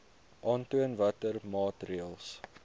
aantoon watter maatreëls